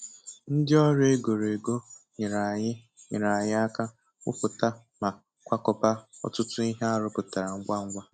Ndị ọrụ e goro ego nyeere anyị nyeere anyị aka gwuputa ma kwakọba ọtụtụ ihe a rụpụtara ngwa ngwa.